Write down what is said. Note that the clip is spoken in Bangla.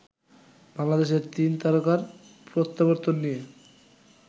বাংলাদেশের তিন তারকার প্রত্যাবর্তন নিয়ে